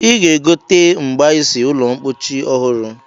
Ị ga-egote mgbaisi ụlọmpochi ọhụrụ?